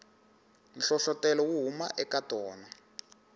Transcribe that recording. nhlohlotelo wu huma eka tona